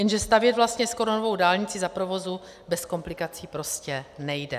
Jenže stavět vlastně skoro novou dálnici za provozu bez komplikací prostě nejde.